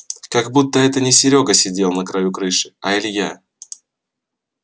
как будто это не серёга сидел на краю крыши а илья